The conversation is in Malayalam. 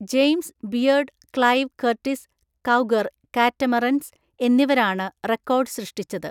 James Beard Clive Curtis Cougar Catamarans എന്നിവരാണ് റെക്കോർഡ് സൃഷ്ടിച്ചത്.